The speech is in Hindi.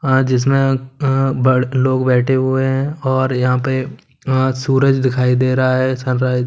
हां जिसमें अम लोग बैठे हुए हैं और यहां पे अ सूरज दिखाई दे रहा है सनराइज --